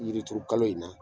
Yiri turu kalo in na